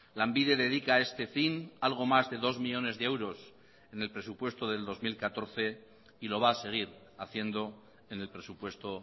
lanbide dedica a este fin algo más de dos millónes de euros en el presupuesto del dos mil catorce y lo va a seguir haciendo en el presupuesto